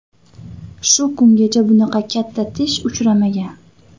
Shu kungacha bunaqa katta tish uchramagan”.